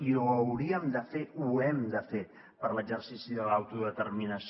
i ho hauríem de fer ho hem de fer per l’exercici de l’autodeterminació